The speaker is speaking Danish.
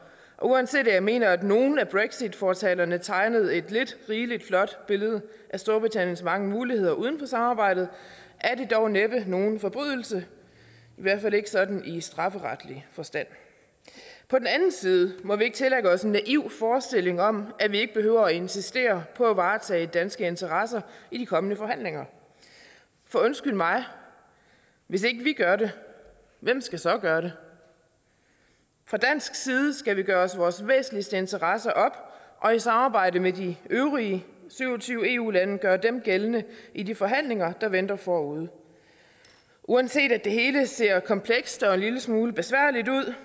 uanset at jeg mener at nogle af brexitfortalerne tegnede et lidt rigelig flot billede af storbritanniens mange muligheder uden for samarbejdet er det dog næppe nogen forbrydelse i hvert fald ikke sådan i strafferetlig forstand på den anden side må vi ikke tillægge os en naiv forestilling om at vi ikke behøver at insistere på at varetage danske interesser i de kommende forhandlinger for undskyld mig hvis ikke vi gør det hvem skal så gøre det fra dansk side skal vi gøre os vores væsentligste interesser op og i samarbejde med de øvrige syv og tyve eu lande gøre dem gældende i de forhandlinger der venter forude uanset at det hele ser komplekst og en lille smule besværligt ud